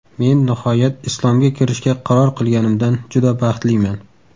Men nihoyat Islomga kirishga qaror qilganimdan juda baxtliman.